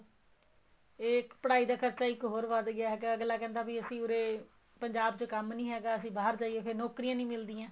ਇਹ ਪੜਾਈ ਦਾ ਖਰਚਾ ਇੱਕ ਹੋਰ ਵੱਧ ਗਿਆ ਹੈਗਾ ਅੱਗਲਾ ਕਹਿੰਦਾ ਵੀ ਅਸੀਂ ਉਰੇ ਪੰਜਾਬ ਚ ਕੰਮ ਨਹੀਂ ਹੈਗਾ ਅਸੀਂ ਬਹਾਰ ਜਾਈਏ ਫ਼ੇਰ ਨੋਕਰੀਆਂ ਨਹੀਂ ਮਿਲਦੀਆਂ